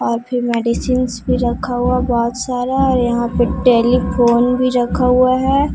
और फिर मेडिसिन भी रखा हुआ बहुत सारा और यहां पे टेलीफोन भी रखा हुआ है।